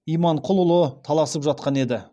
иманқұлы таласып жатқан еді